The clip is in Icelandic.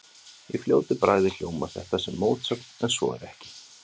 Í fljótu bragði hljómar þetta sem mótsögn en svo er ekki.